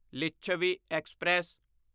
Lichhavi express